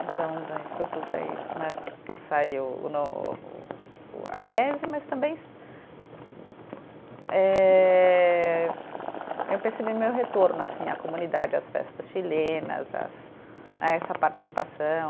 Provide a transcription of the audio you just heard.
Então né saiu o a tese, mas também eh eu percebi meu retorno assim à comunidade, às festas chilenas às, a essa participação.